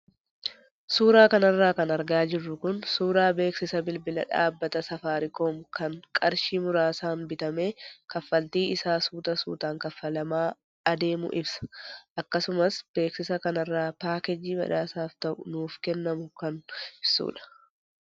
Suuraa kanarra kan argaa jirru kun suuraa beeksisa bilbila dhaabbata saafaariikoom kan qarshii muraasaan bitamee kaffaltii isaa suuta suutaan kaffalamaa adeemu ibsa. Akkasumas beeksisa kanarraa paakeejii badhaasaaf ta'u nuuf kennamu kan ibsudha.